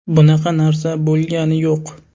Bunaqa narsa bo‘lgani yo‘q.